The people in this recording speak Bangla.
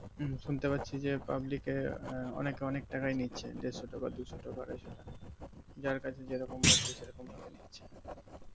শুনতে পাচ্ছি যে পাবলিকে আহ অনেকে অনেক তাকাই নিচ্ছে দেড়শো টাকা দুশোটাকা আড়াইশো টাকা যার কাছে যে রকম পাচ্ছে সেরকম ভাবে নিচ্ছে